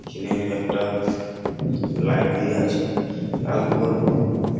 ইখেনে একটা লাইট দিয়া আছে লাল বল ।